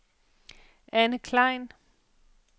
Anne Klein